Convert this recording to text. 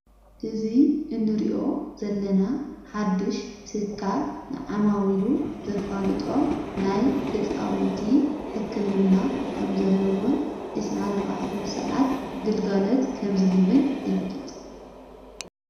እዙይ እንርዮ ዘለና ሓድሽ ትካል ንዓማዊ ኢሉ ዘፋልጦም ናይ ሕፃውንቲ ሕክምና ኸም ዘለውን ዕሥራን ኣርዋዓትን ሰዓት ግልጋለት ከምዝህብን የፍልጥ ።